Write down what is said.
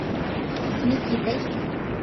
никитой